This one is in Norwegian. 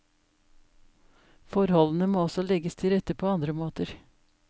Forholdene må også legges til rette på andre måter.